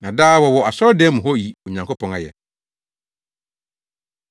Na daa wɔwɔ asɔredan no mu hɔ yi Onyankopɔn ayɛ.